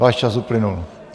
Váš čas uplynul.